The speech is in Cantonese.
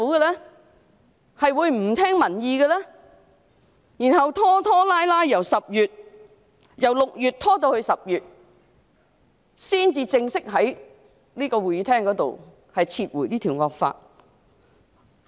其後他們拖拖拉拉，由6月拖至10月，才正式在這個會議廳裏撤回這項惡法。